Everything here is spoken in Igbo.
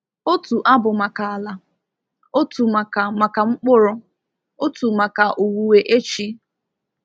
Otu abụ maka ala, otu maka maka mkpụrụ, otu maka owuwe echi.